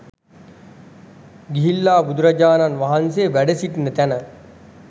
ගිහිල්ලා බුදුරජාණන් වහන්සේ වැඩසිටින තැන